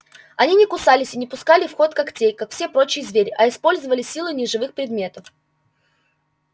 они не кусались и не пускали в ход когтей как все прочие звери а использовали силы неживых предметов